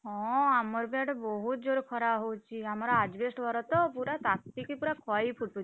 ହଁ ଆମର ବି ଆଡେ ବହୁତ ଜୋରେ ଖରା ହଉଚି, ଆମର asbestos ଘର ତ ପୁରା ତାତିକି ପୁରା ଖଇ ଫୁଟୁଛି।